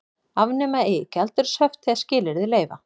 Afnema eigi gjaldeyrishöft þegar skilyrði leyfa